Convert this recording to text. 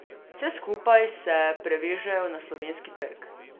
Vse skupaj se prevežejo na Slovenski trg.